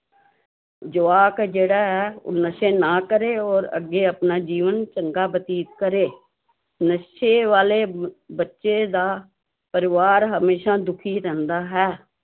ਜਵਾਕ ਜਿਹੜਾ ਹੈ ਉਹ ਨਸ਼ੇ ਨਾ ਕਰੇ ਔਰ ਅੱਗੇ ਆਪਣਾ ਜੀਵਨ ਚੰਗਾ ਬਤੀਤ ਕਰੇ, ਨਸ਼ੇ ਵਾਲੇ ਬੱਚੇ ਦਾ ਪਰਿਵਾਰ ਹਮੇਸ਼ਾ ਦੁੱਖੀ ਰਹਿੰਦਾ ਹੈ।